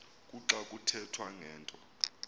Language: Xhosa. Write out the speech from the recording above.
kuxa kuthethwa ngento